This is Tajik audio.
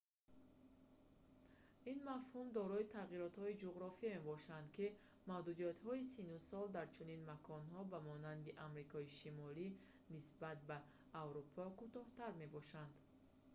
ин мафҳум дорои тағйиротҳои ҷуғрофие мебошад ки маҳдудиятҳои синну сол дар чунин маконҳо ба монанди амрикои шимолӣ нисбат ба аврупо кӯтоҳтар мебошанд